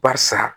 Barisa